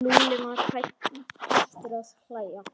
Lúlli var hættur að hlæja.